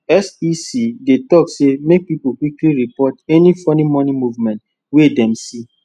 sec dey talk say make pipo quickquick report any funny money movement wey dem see